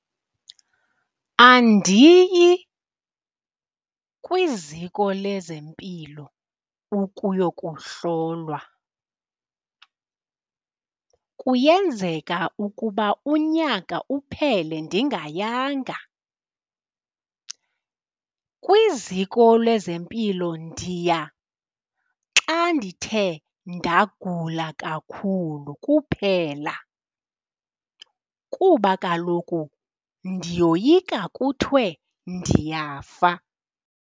Andiyi kwiziko lezempilo ukuyokuhlolwa, kuyenzeka ukuba unyaka uphele ndingayanga. Kwiziko lezempilo ndiya xa ndithe ndagula kakhulu kuphela, kuba kaloku ndiyoyika kuthiwe ndiyafa.